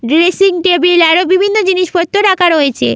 Dressing table আরো বিভিন্ন জিনিসপত্র রাখা রয়েছে।